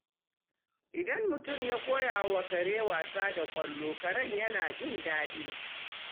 Idan mutum ya koya wa kare wasa da ƙwallo, karen yana jin daɗi.